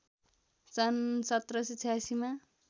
सन् १७८६ मा